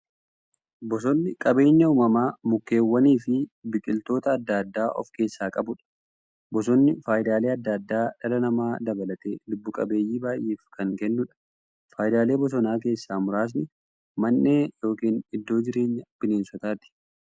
Bosonni qabeenya uumamaa mukkeewwaniifi biqiltoota adda addaa of keessaa qabudha. Bosonni faayidaalee adda addaa dhala namaa dabalatee lubbuu qabeeyyii baay'eef kan kennuudha. Faayidaalee bosonaa keessaa muraasni; Mandhee yookin iddoo jireenya bineensotaati.